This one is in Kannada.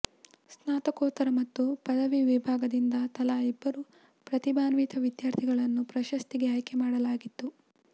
ಸ್ನಾತಕೋತ್ತರ ಮತ್ತು ಪದವಿ ವಿಭಾಗದಿಂದ ತಲಾ ಇಬ್ಬರು ಪ್ರತಿಭಾನ್ವಿತ ವಿದ್ಯಾರ್ಥಿಗಳನ್ನು ಪ್ರಶಸ್ತಿಗೆ ಆಯ್ಕೆ ಮಾಡಲಾಗಿತ್ತು